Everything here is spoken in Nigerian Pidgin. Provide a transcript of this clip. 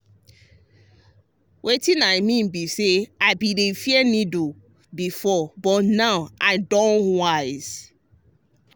wetin i mean be say i bin dey fear needle before but now i don wise.